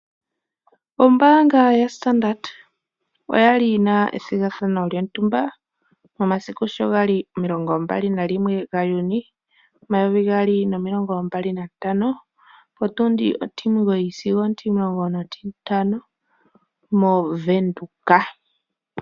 Ombanga yaStandard oya li yina ethigathano lyotumba momasiku sho ga li omilongo mbali nalimwe (21) gaJuni omayovi gaali nomilongo mbali nantano (2025) pontundi otimugoyi sigo otimulongo notintano moVenduka.